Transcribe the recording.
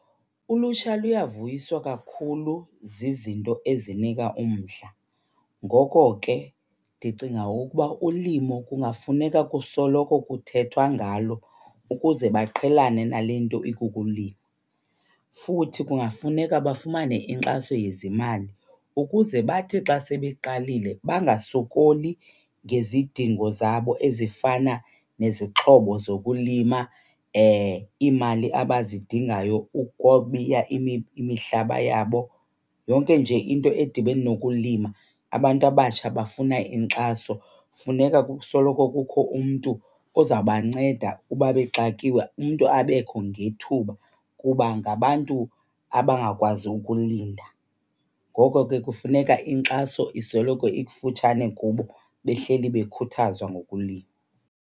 Ulutsha luyavuyiswa kakhulu zizinto ezinika umdla, ngoko ke ndicinga ukuba ulimo kungafuneka kusoloko kuthethwa ngalo ukuze baqhelane nale nto ikukulima. Futhi kungafuneka bafumane inkxaso yezimali ukuze bathi xa sebeqalile bangasokoli ngezidingo zabo ezifana nezixhobo zokulima, iimali abazidingayo ukubiya imihlaba yabo, yonke nje into edibene nokulima abantu abatsha bafuna inkxaso. Funeka kusoloko kukho umntu ozabanceda uba bexakiwe, umntu abekho ngethuba kuba ngabantu abangakwazi ukulinda. Ngoko ke kufuneka inkxaso isoloko ikufutshane kubo, behleli bakhuthazwa ngokulima.